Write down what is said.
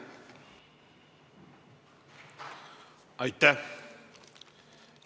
Aitäh!